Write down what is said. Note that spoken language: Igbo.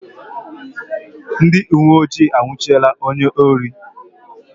Ndị uweojii anwụchiela onye ohi